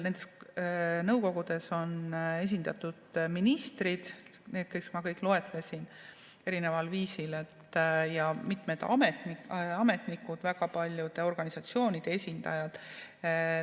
Nendes nõukogudes on esindatud ministrid, need, keda ma loetlesin, erineval viisil, ja seal on mitmed ametnikud, väga paljude organisatsioonide esindajad.